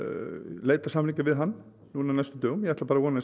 leita samninga við hann á næstu dögum ég ætla bara að vona að